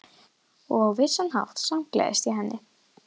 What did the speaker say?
Og á vissan hátt samgleðst ég henni.